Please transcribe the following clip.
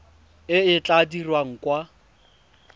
e e tla dirwang kwa